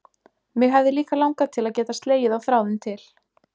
Mig hefði líka langað til að geta slegið á þráðinn til